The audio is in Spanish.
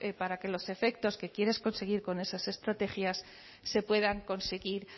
para que los efectos que quieres conseguir con esas estrategias se puedan conseguir